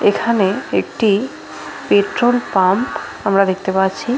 এখানে একটি petrol pump আমরা দেখতে পাচ্ছি।